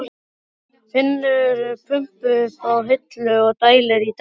Finnur pumpu uppi á hillu og dælir í dekkin.